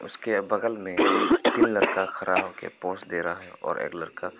उसके बगल में तीन लड़का खड़ा हो के पोज दे रहा और एक लड़का--